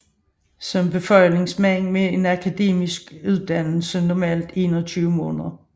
Som befalingsmand med en akademiuddannelse normalt 21 måneder